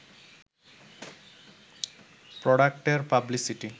প্রডাক্টের publicity